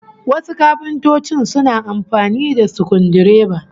Wasu kafintocin suna amfani da sukudireba